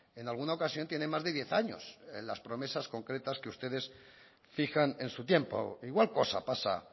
en alguna ocasión tiene más de diez años las promesas concretas que ustedes fijan en su tiempo igual cosa pasa